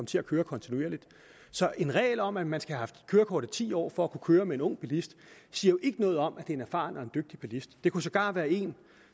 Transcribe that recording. til at køre kontinuerligt så en regel om at man skal have haft kørekort i ti år for at kunne køre med en ung bilist siger jo ikke noget om at det er en erfaren og dygtig bilist det kunne sågar være en